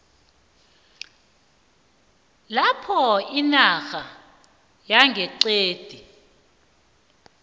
lapho inarha yangeqadi